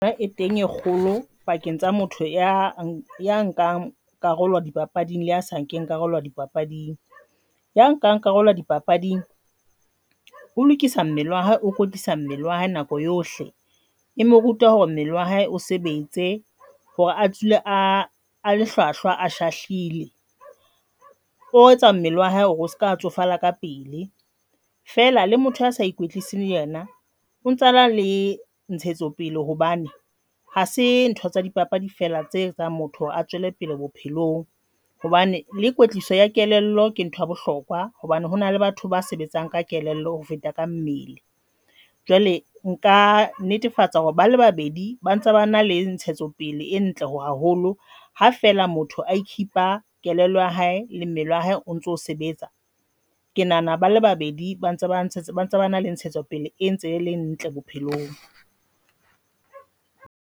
E teng e kgolo pakeng tsa motho ya nkang karolo dipapading le a sa nke karolo dipapading ya nkang karolo ya dipapading. Ho lokisa mmele a hae o kwetlisang mmele wa hae nako yohle, e mo ruta hore mmele wa hae o sebetse hore a tswile a a hlwahlwa, a shahlile, o etsa mmele wa hae hore o seka tsofala ka pele. Fela le motho a sa ena o ntsana le ntshetso pele hobane hase ntho tsa dipapadi fela tse etsang motho a tswele pele bophelong hobane le kwetliso ya kelello ke ntho ya bohlokwa hobane hona le batho ba sebetsang ka kelello ho feta ka mmele. Jwale nka netefatsa hore bale babedi ba ntse ba na le ntshetso pele e ntle ho haholo ha fela motho I keep-a kelello ya hae le mmele wa hae o ntso sebetsa, ke nahana bale babedi ba ntse ba na le ntshetsopele e ntse le ntle bophelong.